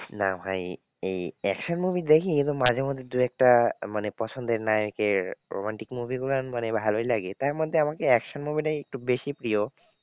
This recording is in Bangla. না ভাই এই action movie দেখি কিন্তু মাঝেমধ্যে দু একটা মানে পছন্দের নায়কের romantic movie গুলো মানে ভালোই লাগে। তার মধ্যে আমার কি action movie টাই একটু বেশি প্রিয়।